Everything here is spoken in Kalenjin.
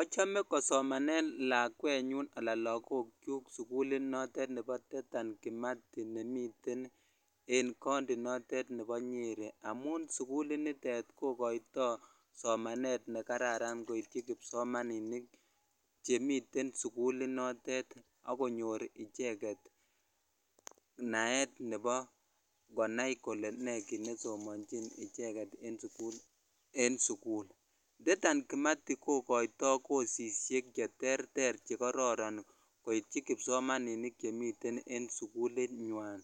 Ochome kosomanen lakwenyun anan lokokchuk sukulit nebo Dedan Kimathi nemiten en county notet nebo Nyeri amun sukuli nitet ko koito somanet nekararan koityi kipsomaninik chemiten sukuli notet ak konyor icheket naet neb konai kole nee kiit nesomonchin icheket en sukul, Dedan Kimathi kokoito kosisiek cheterter chekororon koityi kipsomaninik chemiten en sukulinywan,